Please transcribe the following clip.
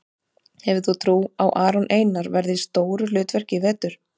Hefur þú trú á að Aron Einar verði í stóru hlutverki í vetur?